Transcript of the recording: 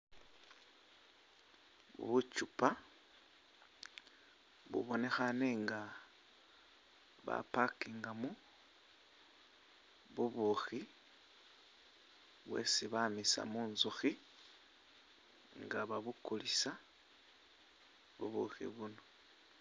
Buchupa bubonekhane nga ba parking mo bubukhi bwesi bamisa munzukhi nga babukulisa ubukhi buuno